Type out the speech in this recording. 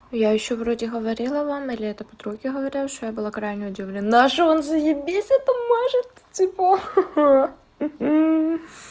я ещё вроде говорила вам или я это подруге говорила что я была крайне удивлена что он заебись это мажет типо ха ха хе хе